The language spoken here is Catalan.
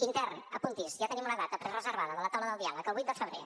intern apunti’s ja tenim una data prereservada de la taula de diàleg el vuit de febrer